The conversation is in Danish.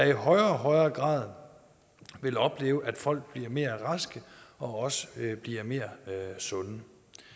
i højere og højere grad vil opleve at folk bliver mere raske og også bliver mere sunde